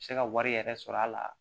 Se ka wari yɛrɛ sɔrɔ a la